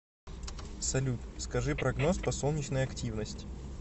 салют скажи прогноз по солнечной активность